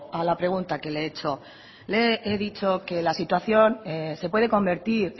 a la pregunta que le he hecho le he dicho que la situación se puede convertir